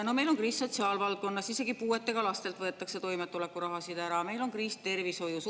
Meil on kriis sotsiaalvaldkonnas, isegi puuetega lastelt võetakse toimetulekurahasid ära, meil on kriis tervishoius.